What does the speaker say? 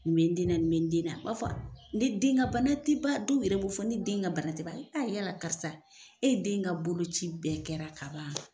Nin bɛ n den na, nin bɛ n den na, u b'a fɔ ne den ka bana tɛ ban, dow yɛrɛ b'o' fɔ ne den ka bana tɛ ban. Ne ya yira la karisa e den ka bolo ci bɛn kɛra kaban.